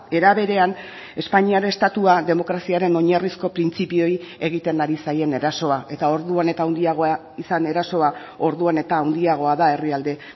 era berean espainiar estatua demokraziaren oinarrizko printzipioei egiten ari zaien erasoa eta orduan eta handiagoa izan erasoa orduan eta handiagoa da herrialde